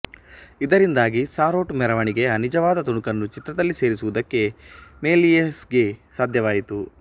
ಇದರಿಂದಾಗಿ ಸಾರೋಟು ಮೆರವಣಿಗೆಯ ನಿಜವಾದ ತುಣುಕನ್ನು ಚಿತ್ರದಲ್ಲಿ ಸೇರಿಸುವುದಕ್ಕೆ ಮೆಲಿಯೇಸ್ಗೆ ಸಾಧ್ಯವಾಯಿತು